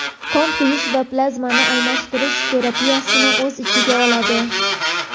qon quyish va plazmani almashtirish terapiyasini o‘z ichiga oladi.